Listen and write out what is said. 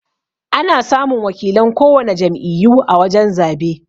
Ana samun wakilan kowana jam'iyyu a wajan zabe.